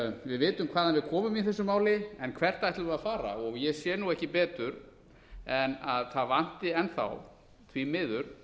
við vitum hvaðan við komum í þessu máli en hvert ætlum við að fara ég sé nú ekki betur en að það vanti enn þá því miður